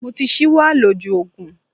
Mo ti ṣíwọ́ àlòjù Ògùn.